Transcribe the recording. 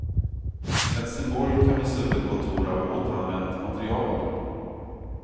Helsingborg kan visa upp ett kontor av återanvänt material.